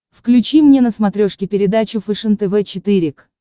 включи мне на смотрешке передачу фэшен тв четыре к